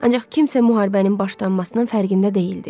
Ancaq kimsə müharibənin başlanmasının fərqində deyildi.